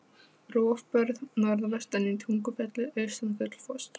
Rofbörð norðvestan í Tungufelli, austan Gullfoss.